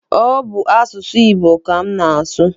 Ọ bụ asụsụ Igbo ka m na-asụ.